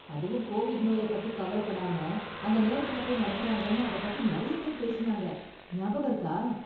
அதுவும் கோவிட் நோயை பத்தி கவலப்படாம அந்த நேரத்துல போய் நடத்துறாங்கன்னு அதப் பத்தி நிறைய பேர் பேசுனாங்க, ஞாபகம் இருக்கா?